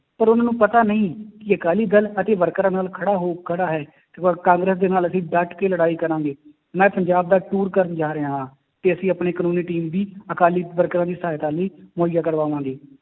ਪਰ ਉਹਨਾਂ ਨੂੰ ਪਤਾ ਨਹੀਂ ਕਿ ਅਕਾਲੀ ਦਲ ਅਤੇ ਵਰਕਰਾਂ ਨਾਲ ਖੜਾ ਹੋ ਖੜਾ ਹੈ, ਤੇ ਪਰ ਕਾਂਗਰਸ ਦੇ ਨਾਲ ਅਸੀਂ ਡੱਟ ਕੇ ਲੜਾਈ ਕਰਾਂਗੇ, ਮੈਂ ਪੰਜਾਬ ਦਾ ਟੂਰ ਕਰਨ ਜਾ ਰਿਹਾ ਹਾਂ ਕਿ ਅਸੀਂ ਆਪਣੀ ਕਾਨੂੰਨੀ team ਵੀ ਅਕਾਲੀ ਵਰਕਰਾਂ ਦੀ ਸਹਾਇਤਾ ਲਈ ਮੁਹੱਈਆਂ ਕਰਾਵਾਂਗੇ।